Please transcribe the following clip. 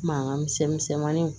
Mankan misɛn misɛnmanin